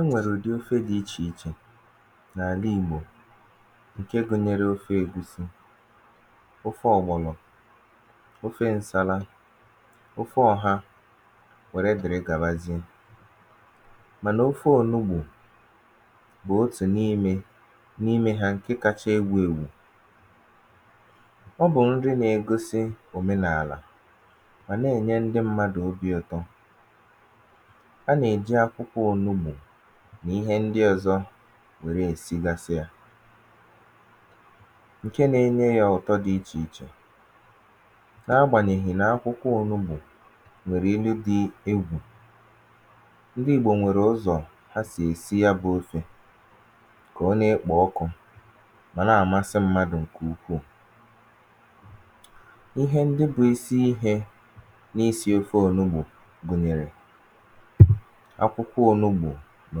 enwèrè ụ̀dị ofe dị̄ ichè ichè n’ànị ìgbò ǹke gụ̄nyērē ofe ègusi, ofe ọ̀gbọ̀lọ̀ ofe n̄sālā, ofe ọ̀ha, nwère dị̀rị gàbazie mànà ofe ònubù bụ̀ otù n’imē n’ime hā ǹke kāchā ewù ewù ọ bụ̀ nri nā-ēgōsī òmenàlà mà nà-ènye ndị m̄mādụ̀ obī ụ̀tọ a nà-èji akwụkwọ ònubù nà ihe ndị ọ̄zọ̄ nwère èsigasị yā ǹke nā-ēnyē yà ụ̀tọ dị̄ ichè ichè na-agbànyèghì nà akwụkwọ ònubù nwèrè inu dị̄ egwù ndị ìgbò nwèrè ụzọ̀ ha sì èsi ya bụ̄ ofē kà ọ na-ekpò ọkụ̄ mà na-àmasị m̄mādụ̀ ǹkè ukwuù ihe ndị bụ̄ isi īhē n’isī ofe ònubù gụ̀nyèrè akwụkwọ ònubù nà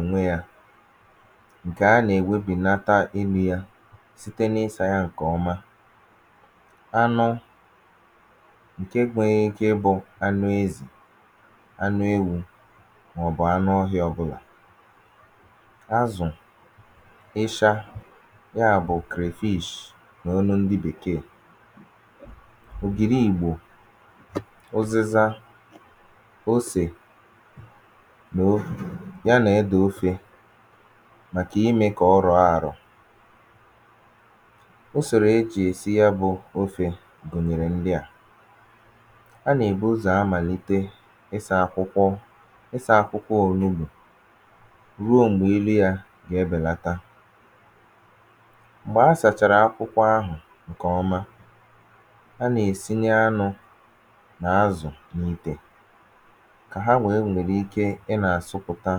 ònweyā ǹkè a nà-ènwebìnata inū yā site na-ịsā yā ǹkè ọma anụ ǹke nwērē ike ịbụ̄ anụ ezì anụ ewū màọ̀bụ̀ anụ ọhịā ọbụ̄là azụ̀, ịsha ya bụ̀ crayfish n’olu ndị bèkeè ògìri ìgbò, ụzịza, osè noo ya nà edè ofē màkà imē kà ọ rọ̀ọ àrọ̀ usòrò ejì èsi ya bụ̀ ofē gụ̀nyèrè ndị à a nà-èbu ụzọ̀ amàlite ịsā akwụkwọ ịsā akwụkwọ ònubù ruo m̀gbè ilu yā gà-ebèlata m̀gbè asàchàrà akwụkwọ ahụ̀ ǹkè ọma a nà-èsinye anụ̄ nà azụ̀ n’ìtè kà ha nwèe nwère ike ịnā àsụpụ̀ta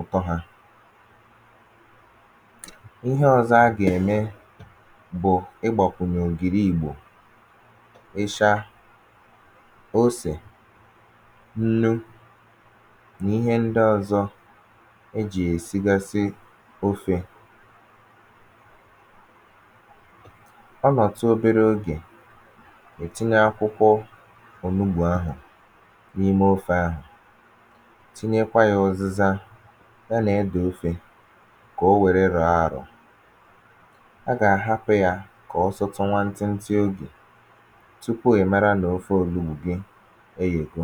ụ̀tọ hā ihe ọ̄zọ̄ a gà-ème bụ̀ igbàkụ̀nyè ògìri ìgbò ịsha, osè, nnu nà ihe ndị ọ̄zọ̄ ejì èsigasị ofē ọ nọ̀tụ obere ogè ì tinye akwụkwọ ònubù ahụ̀ n’imè ofē ahụ̀ tinyekwa yā ụzịza ya nà edè ofē kà o nwère rọ̀ọ àrọ̀ a gà-àhapụ̄ yā kà ọ sụtụ nwantị ntị ogè tupu ì mara nà ofe ònubù gị eyègo